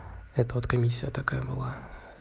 это вот комиссия такая была